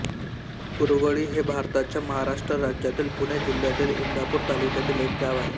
कुरवळी हे भारताच्या महाराष्ट्र राज्यातील पुणे जिल्ह्यातील इंदापूर तालुक्यातील एक गाव आहे